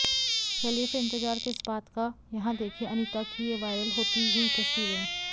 चलिए फिर इंतजार किस बात का यहां देखिए अनीता की ये वायरल होती हुई तस्वीरें